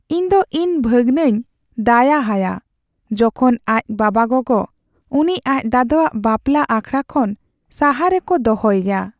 ᱤᱧᱫᱚ ᱤᱧ ᱵᱷᱟᱹᱜᱱᱟᱹᱧ ᱫᱟᱭᱟ ᱟᱭᱟ ᱡᱚᱠᱷᱚᱱ ᱟᱡ ᱵᱟᱵᱟᱼᱜᱳᱜᱳ ᱩᱱᱤ ᱟᱡ ᱫᱟᱫᱟᱣᱟᱜ ᱵᱟᱯᱞᱟ ᱟᱠᱷᱲᱟ ᱠᱷᱚᱱ ᱥᱟᱦᱟ ᱨᱮᱠᱚ ᱫᱚᱦᱚᱭᱮᱭᱟ ᱾